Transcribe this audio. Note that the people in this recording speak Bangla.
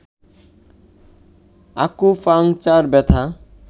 আকুপাংচার ব্যথা